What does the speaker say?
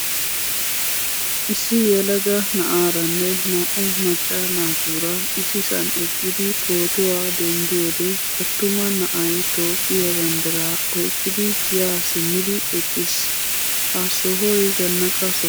Issi yelaga na'aaranne naa'u macca naaturaa issisan eqqidi pootuwaa denddiyode attuma na'ay toophphiyaa banddiraa oyqqidi ya simmidi eqqiis. ha sohoy zannaqqa soho milattees.